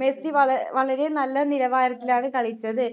Messi വള വളരെ നല്ല നിലവാരത്തിലാണ് കളിച്ചത്